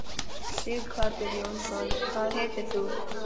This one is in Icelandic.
Sighvatur Jónsson: Hvað heitir þú?